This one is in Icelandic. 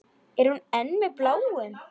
Er hún enn með Bláum?